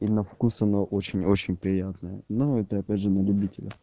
и на вкус она очень очень приятная ну это опять же не любителя